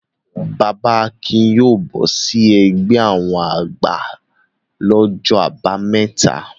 Bàbà Akin yóò bọ́ sí ẹgbẹ́ àwọn àgbà lọ́jọ́ àbámẹ́ta.